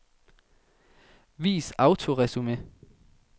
Vis autoresumé.